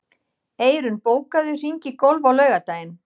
Eyrún, bókaðu hring í golf á laugardaginn.